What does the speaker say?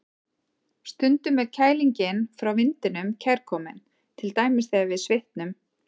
Stundum er kælingin frá vindinum kærkomin, til dæmis þegar við svitnum.